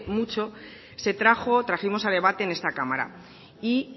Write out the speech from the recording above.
mucho se trajo trajimos a debate en esta cámara y